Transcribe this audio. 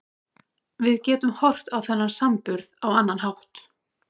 Við getum horft á þennan samburð á annan hátt.